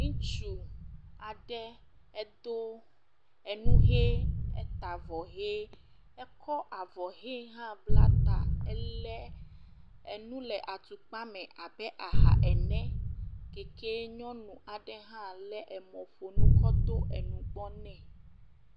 Ŋutsu aɖe edo enu ʋi, eta avɔ ʋi, ekɔ avɔ ʋi hã bla ta. Ele enu le atukpa me abe aha ene. Keke nyɔnu aɖe hã le emɔƒonu kɔ to ɖe nugbɔ nɛ.